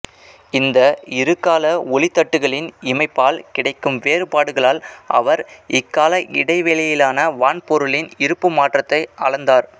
இந்த இருகால ஒளித்தட்டுகளின் இமைப்பால் கிடைக்கும் வேறுபாடுகளால் அவர் இக்கால இடைவெளியிலான வான்பொருள்களின் இருப்பு மாற்றத்தை அளந்தார்